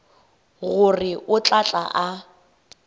gore o tla tla a